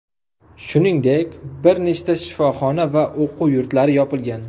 Shuningdek, bir nechta shifoxona va o‘quv yurtlari yopilgan.